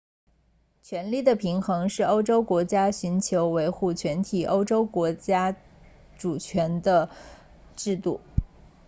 权力的平衡是欧洲国家寻求维护全体欧洲国家国家主权的制度